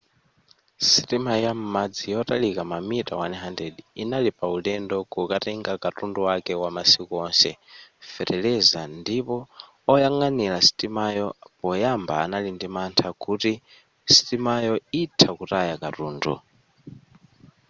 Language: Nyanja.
sitima ya m'madzi yotalika mamita 100 inali pa ulendo kukatenga katundu wake wamasiku onse feteleza ndipo oyang'anira sitimayo poyamba anali ndi mantha kuti sitimayo itha kutaya katundu